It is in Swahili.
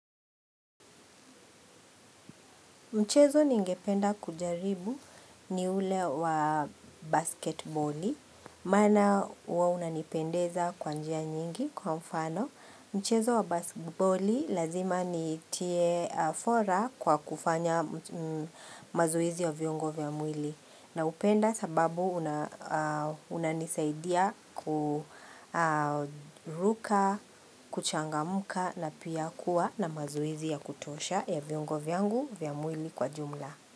Mchezo ningependa kujaribu ni ule wa basketboli Maana huwa unanipendeza kwa njia nyingi kwa mfano Mchezo wa basketboli lazima nitie fora kwa kufanya mazoezi ya viungo vya mwili Naupenda sababu unanisaidia kuruka, kuchangamka na pia kuwa na mazoezi ya kutosha ya viungo vyangu vya mwili kwa jumla.